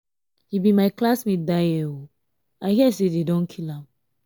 he be my classmate dat year i hear say dey don kill am.